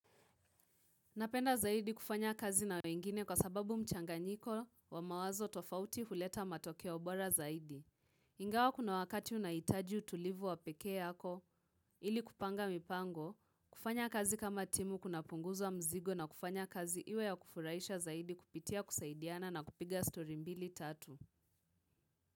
Napenda zaidi kufanya kazi na wengine kwa sababu mchanganyiko wa mawazo tofauti huleta matokeo bora zaidi. Ingawa kuna wakati unahitaji utulivu wa peke yako ili kupanga mipango, kufanya kazi kama timu kunapunguza mzigo na kufanya kazi iwe ya kufurahisha zaidi kupitia kusaidiana na kupiga story mbili tatu.